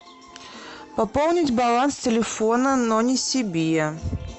пополнить баланс телефона но не себе